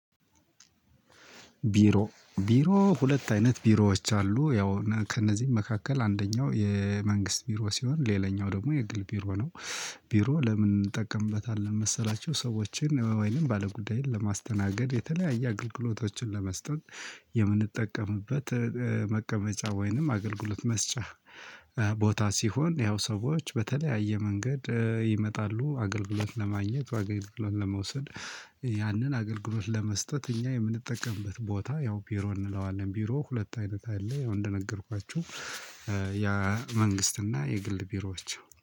ቢሮ ቢሮ ሁለት አይነት ቢሮዎች አሉ ያው ከእነዚህም መካከል አንደኛው የመንግስት ቢሮ ሲሆን ሌላኛው ደግሞ የግል ቢሮ ነው። ቢሮ ለምን? እንጠቀምበታለን መሰላቸው ሰዎችን ወይንም ባለጉዳይን ለማስተናገድ የተለያየ አገልግሎቶችን ለመስጠት። የምንጠቀምበት መቀመጫ ወይንም አገልግሎት መስጫ። ቦታ ሲሆን ያው ሰዎች በተለያየ መንገድ ይመጣሉ አገልግሎት ለማግኘት አገልግሎት ለመውሰድ። ያንን አገልግሎት ለመስጠት እኛ የምንጠቀምበት ቦታ ያው ቢሮ እንለዋለን ቢሮ ሁለት አይነት አለ። ያው እንደነገርኳችሁ ያ መንግስት መንግስትና የግል ቢሮዎች